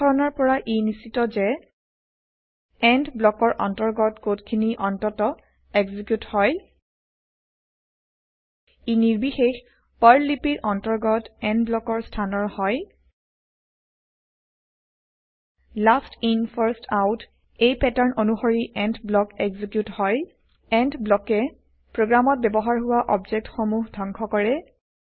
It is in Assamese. উদাহৰণৰ পৰা ই নিশ্চিত যে এণ্ড ব্লকৰ অন্তৰ্গত কড খিনি অন্তত এক্সিকিউত হয় ই নিৰ্বিশেষ পাৰ্ল লিপিৰ অন্তৰ্গত এণ্ড ব্লকৰ স্হানৰ হয় লাষ্ট ইন ফাৰ্ষ্ট Out এই পেটাৰ্ণ অনুসৰি এণ্ড ব্লক এক্সিকিউত হয় এণ্ড ব্লকে প্ৰগ্ৰেমত ব্যৱহাৰ হোৱা অবজেক্ট সমূহ ধংস কৰে